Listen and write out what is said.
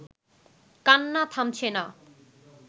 কান্না থামছে না